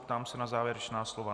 Ptám se na závěrečná slova.